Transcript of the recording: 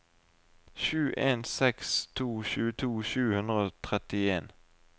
sju en seks to tjueto sju hundre og trettien